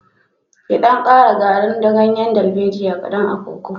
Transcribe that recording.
Ki ɗan ƙara agrin ganyen darbejiya kaƙan a kokon.